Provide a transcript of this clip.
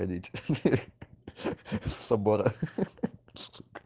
ходить с собора